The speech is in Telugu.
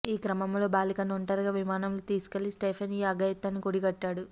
ఈ క్రమంలో బాలికను ఒంటరిగా విమానంలో తీసుకెళ్లి స్టీఫెన్ ఈ అఘాయిత్యానికి ఒడిగట్టాడు